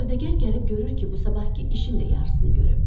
Sövdəgar gəlib görür ki, bu sabahkı işin də yarısını görüb.